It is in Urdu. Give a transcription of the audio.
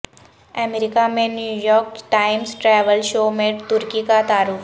امریکہ میں New York Times travel show میں ترکی کا تعارف